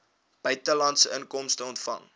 buitelandse inkomste ontvang